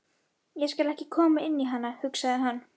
Ég skal ekki koma inn í hana, hugsaði hann.